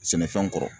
Sɛnɛfɛnw kɔrɔ